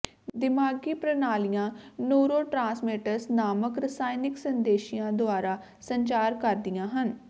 ਦਿਮਾਗੀ ਪ੍ਰਣਾਲੀਆਂ ਨੂਰੋੋਟ੍ਰਾਂਸਮੈਂਟਸ ਨਾਮਕ ਰਸਾਇਣਕ ਸੰਦੇਸ਼ੀਆਂ ਦੁਆਰਾ ਸੰਚਾਰ ਕਰਦੀਆਂ ਹਨ